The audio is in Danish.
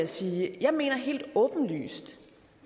sige at jeg mener helt åbenlyst